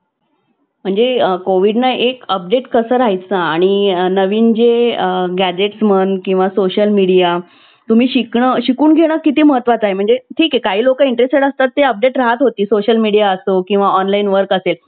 परंतु वय झाल्यानंतर त्यांना ह्या गोष्टी करायला जमत नाही अश्या वेळी त्यांना एका ठिकाणी बसावं लागतं मग अश्यावेळी अं आशा निराशा जनक जीवनामध्ये